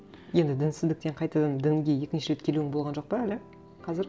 енді дінсіздіктен қайтадан дінге екінші рет келуің болған жоқ па әлі қазір